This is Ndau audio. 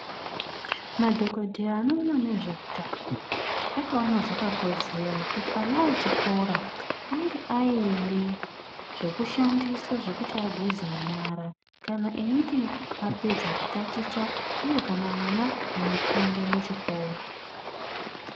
Madhogodheya anoona nezveutano akaona zvakakodzera kuti ana echikura ange aine zvokushandisa zvokuti ageze nyara kana einge apedza kutaticha uye kana mwana eipinda muchikora.